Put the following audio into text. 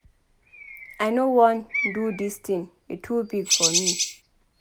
I no wan do dis thing e too big for me